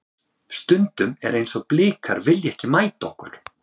Stundum er eins og Blikar vilji ekki mæta okkur.